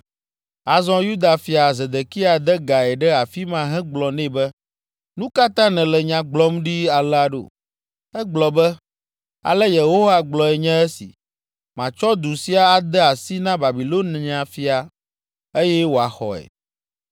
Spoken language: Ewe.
Azɔ Yuda fia Zedekia de gae ɖe afi ma hegblɔ nɛ be, “Nu ka ta nèle nya gblɔm ɖi alea ɖo? Egblɔ be, ‘Ale Yehowa gblɔe nye esi: Matsɔ du sia ade asi na Babilonia fia, eye wòaxɔe.